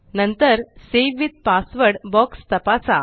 नंतर save with password box तपासा